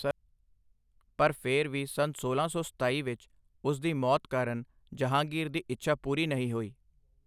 ਪਰ ਫਿਰ ਵੀ ਸੰਨ ਸੋਲਾਂ ਸੌ ਸਤਾਈ ਵਿੱਚ ਉਸ ਦੀ ਮੌਤ ਕਾਰਨ ਜਹਾਂਗੀਰ ਦੀ ਇੱਛਾ ਪੂਰੀ ਨਹੀਂ ਹੋਈ।